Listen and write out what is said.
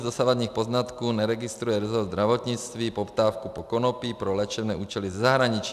Z dosavadních poznatků neregistruje rezort zdravotnictví poptávku po konopí pro léčebné účely ze zahraničí.